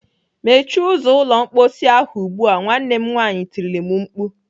"Mechie ụzọ ụlọ mkposi ahụ ugbu a!" Nwanne m nwaanyị tirile m mkpu.